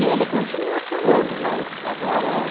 E ele continuava falando, mas agora é...